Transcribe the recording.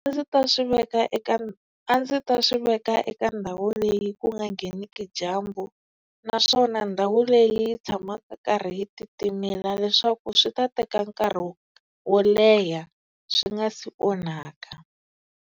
A ndzi ta swi veka eka a ndzi ta swi veka eka ndhawu leyi ku nga ngheneki dyambu, naswona ndhawu leyi yi tshamaka yi karhi yi titimela leswaku swi ta teka nkarhi wo wo leha swi nga si onhaka.